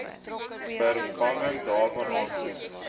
vervanging daarvan aansoek